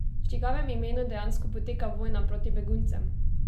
V čigavem imenu dejansko poteka vojna proti beguncem?